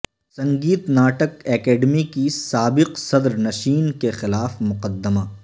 سنگیت ناٹک اکیڈیمی کی سابق صدرنشین کے خلاف مقدمہ